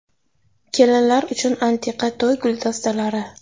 Kelinlar uchun antiqa to‘y guldastalari .